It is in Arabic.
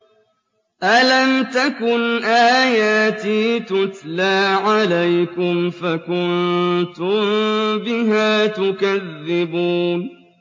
أَلَمْ تَكُنْ آيَاتِي تُتْلَىٰ عَلَيْكُمْ فَكُنتُم بِهَا تُكَذِّبُونَ